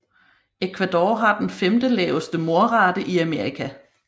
Ecuador har den femte laveste mordrate i Amerika